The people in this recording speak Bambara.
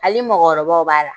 Hali mɔgɔkɔrɔbaw b'a la,